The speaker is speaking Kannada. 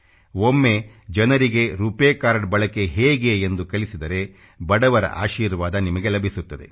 ಒಮ್ಮೆ ಜನರಿಗೆ ರೂಪಾಯ್ ಕಾರ್ಡ್ ಬಳಕೆ ಹೇಗೆ ಎಂದು ಕಲಿಸಿದರೆ ಬಡವರ ಆಶೀರ್ವಾದ ನಿಮಗೆ ಲಭಿಸುತ್ತದೆ